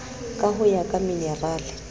ka ho ya ka minerale